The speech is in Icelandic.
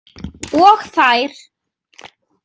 Og þær.